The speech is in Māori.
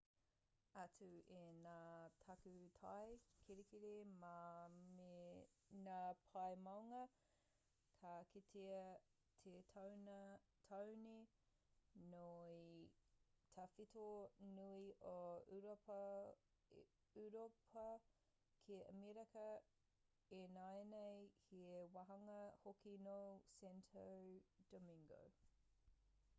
atu i ngā takutai kirikiri mā me ngā pae maunga ka kitea te taone nui tawhito nui o ūropa ki amerika ināianei he wāhanga hoki nō santo domingo